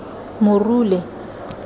morule